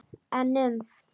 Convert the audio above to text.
En um?